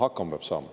Hakkama peab saama.